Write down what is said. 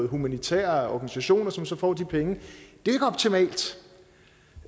humanitære organisationer som så får de penge det